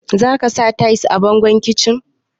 Za ka sa tayis a bangon kicin?